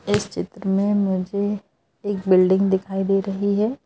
इस चित्र में मुझे एक बिल्डिंग दिखाई दे रही है।